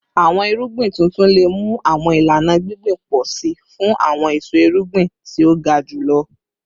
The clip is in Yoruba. Awọn irugbin tuntun le mu awọn ilana gbingbin pọ si fun awọn eso irugbin ti o ga julọ